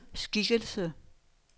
skikkelse